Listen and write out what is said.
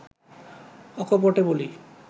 অকপটে বলি